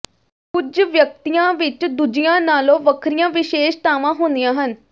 ਕੁੱਝ ਵਿਅਕਤੀਆਂ ਵਿੱਚ ਦੂਜਿਆਂ ਨਾਲੋਂ ਵੱਖਰੀਆਂ ਵਿਸ਼ੇਸ਼ਤਾਵਾਂ ਹੁੰਦੀਆਂ ਹਨ